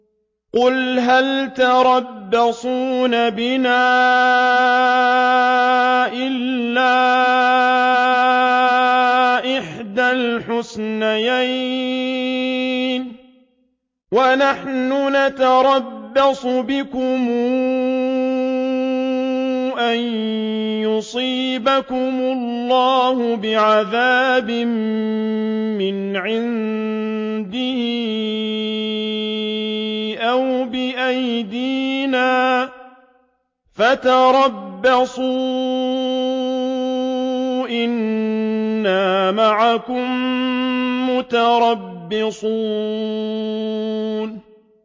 قُلْ هَلْ تَرَبَّصُونَ بِنَا إِلَّا إِحْدَى الْحُسْنَيَيْنِ ۖ وَنَحْنُ نَتَرَبَّصُ بِكُمْ أَن يُصِيبَكُمُ اللَّهُ بِعَذَابٍ مِّنْ عِندِهِ أَوْ بِأَيْدِينَا ۖ فَتَرَبَّصُوا إِنَّا مَعَكُم مُّتَرَبِّصُونَ